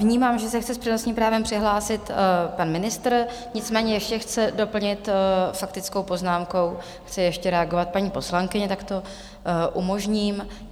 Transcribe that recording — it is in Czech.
Vnímám, že se chce s přednostním právem přihlásit pan ministr, nicméně ještě chce doplnit faktickou poznámkou, chce ještě reagovat paní poslankyně, tak to umožním.